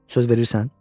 Söz verirsən?